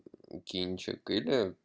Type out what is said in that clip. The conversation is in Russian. кинчик или